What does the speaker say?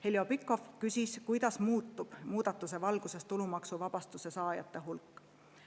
Heljo Pikhof küsis, kuidas muutub muudatuse valguses tulumaksuvabastuse saajate hulk.